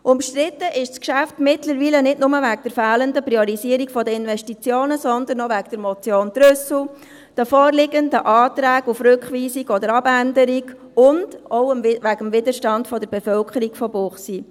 Umstritten ist das Geschäft mittlerweile nicht nur wegen der fehlenden Priorisierung der Investitionen, sondern auch wegen der Motion Trüssel , den vorliegenden Anträgen auf Rückweisung oder Abänderung und auch wegen des Widerstands der Bevölkerung von Münchenbuchsee.